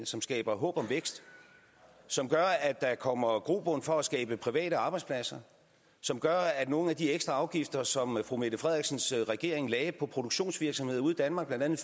som skaber håb om vækst som gør at der kommer grobund for at skabe private arbejdspladser som gør at nogle af de ekstra afgifter som fru mette frederiksens regering lagde på produktionsvirksomheder ude i danmark blandt andet